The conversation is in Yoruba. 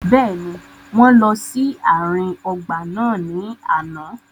Bẹ́ẹ̀ni, wọn lọ si aarin ọgba naa ni ana.